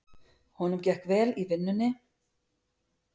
Honum gekk vel í vinnunni.